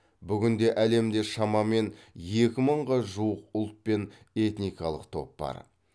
бүгінде әлемде шамамен екі мыңға жуық ұлт мен этникалық топ бар